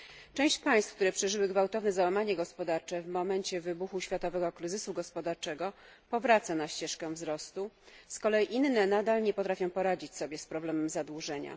Część państw, które przeżyły gwałtowne załamanie gospodarcze w momencie wybuchu światowego kryzysu gospodarczego powraca na ścieżkę wzrostu, z kolei inne nadal nie potrafią poradzić sobie z problemem zadłużenia.